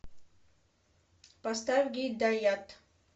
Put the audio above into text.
поставь гидаят